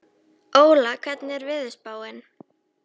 Óla, hvernig er veðurspáin?